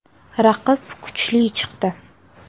Raqib kuchli chiqdi.